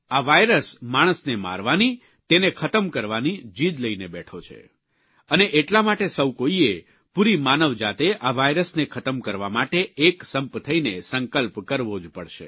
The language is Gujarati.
આ વાયરસ માણસને મારવાની તેણે ખતમ કરવાની જીદ લઇને બેઠો છે અને એટલા માટે સૌ કોઇએ પૂરી માનવજાતે આ વાયરસને ખતમ કરવા માટે એકસંપ થઇને સંકલ્પ કરવો જ પડશે